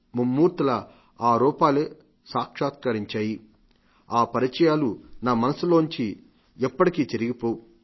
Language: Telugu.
మమ్మూర్తులా ఈ రూపాలే సాక్షాత్కారించాయి ఆ పరిచయాలు నా మనస్సులోంచి ఎప్పటికీ చెరిగిపోవు